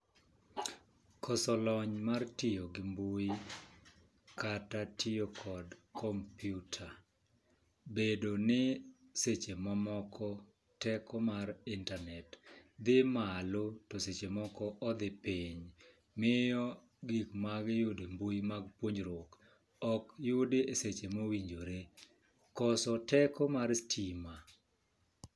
Koso lony mar tiyo gi mbui kata tiyo kod kompiuta , bedo ni seche mamoko teko mar internet dhi malo to seche moko odhi piny miyo, gik magi yudo e mbui mag puonjruok ok yudi e seche mowinjore , koso teko mar stima.